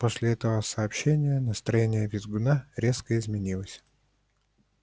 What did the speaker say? после этого сообщения настроение визгуна резко изменилось